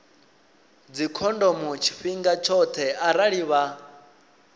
dzikhondomo tshifhinga tshoṱhe arali vha